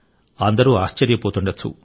అందరూ ఆశ్చర్యపోతుండవచ్చు